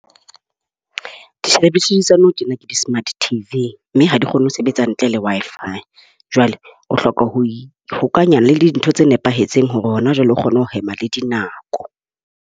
Tsa nou tjena ke di-smart TV. Mme ha di kgone ho sebetsa ntle le Wi-Fi. Jwale o hloka ho ihokahanya le dintho tse nepahetseng hore hona jwale o kgone ho hema le dinako.